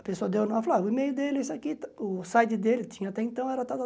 A pessoa deu o nome, eu falava o e-mail dele, isso aqui, o site dele, tinha até então, era estava